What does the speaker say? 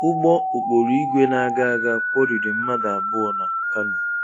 Ụgbọ okporoìgwè na-aga aga kwọriri mmadụ abụọ na Kano.